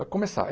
Vai começar.